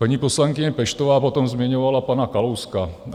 Paní poslankyně Peštová potom zmiňovala pana Kalouska.